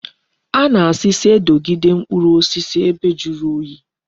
A na-asi si edogide mkpuru osisi ebe juru oyi